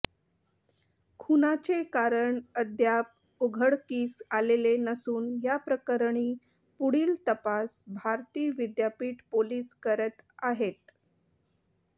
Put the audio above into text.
खूनाचे कारण अद्याप उघडकीस आलेले नसून याप्रकरणी पुढील तपास भारती विद्यापीठ पोलीस करत आहेत